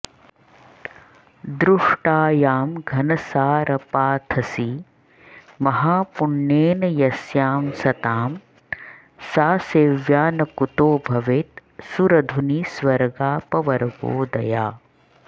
दृष्टायां घनसारपाथसि महापुण्येन यस्यां सतां सा सेव्या न कुतो भवेत्सुरधुनीस्वर्गापवर्गोदया